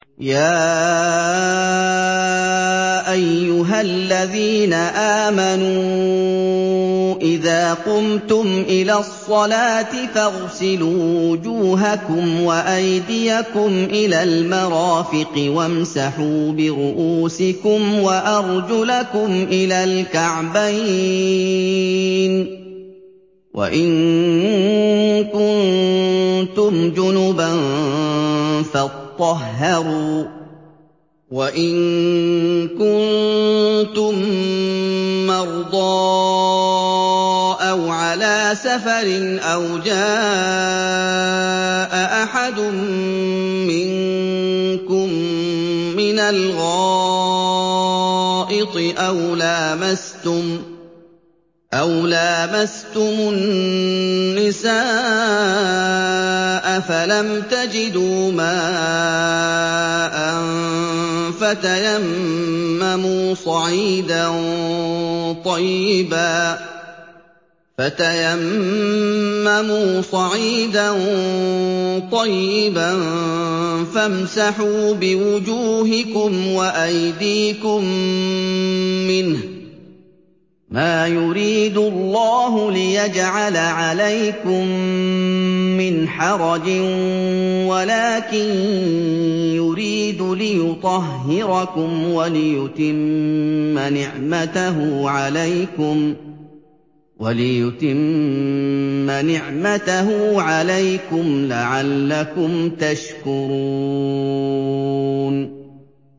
يَا أَيُّهَا الَّذِينَ آمَنُوا إِذَا قُمْتُمْ إِلَى الصَّلَاةِ فَاغْسِلُوا وُجُوهَكُمْ وَأَيْدِيَكُمْ إِلَى الْمَرَافِقِ وَامْسَحُوا بِرُءُوسِكُمْ وَأَرْجُلَكُمْ إِلَى الْكَعْبَيْنِ ۚ وَإِن كُنتُمْ جُنُبًا فَاطَّهَّرُوا ۚ وَإِن كُنتُم مَّرْضَىٰ أَوْ عَلَىٰ سَفَرٍ أَوْ جَاءَ أَحَدٌ مِّنكُم مِّنَ الْغَائِطِ أَوْ لَامَسْتُمُ النِّسَاءَ فَلَمْ تَجِدُوا مَاءً فَتَيَمَّمُوا صَعِيدًا طَيِّبًا فَامْسَحُوا بِوُجُوهِكُمْ وَأَيْدِيكُم مِّنْهُ ۚ مَا يُرِيدُ اللَّهُ لِيَجْعَلَ عَلَيْكُم مِّنْ حَرَجٍ وَلَٰكِن يُرِيدُ لِيُطَهِّرَكُمْ وَلِيُتِمَّ نِعْمَتَهُ عَلَيْكُمْ لَعَلَّكُمْ تَشْكُرُونَ